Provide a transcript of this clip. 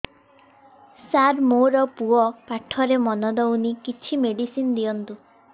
ସାର ମୋର ପୁଅ ପାଠରେ ମନ ଦଉନି କିଛି ମେଡିସିନ ଦିଅନ୍ତୁ